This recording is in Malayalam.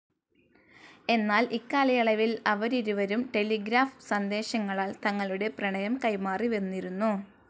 എന്നാൽ ഇക്കാലയളവിൽ അവരിരുവരും ടെലിഗ്രാഫ്‌ സന്ദേശങ്ങളാൽ തങ്ങളുടെ പ്രണയം കൈമാറിവന്നിരുന്നു.